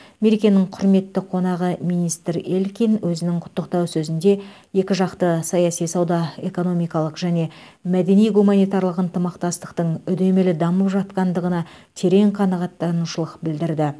мерекенің құрметті қонағы министр элькин өзінің құттықтау сөзінде екіжақты саяси сауда экономикалық және мәдени гуманитарлық ынтымақтастықтың үдемелі дамып жатқандығына терең қанағаттанушылық білдірді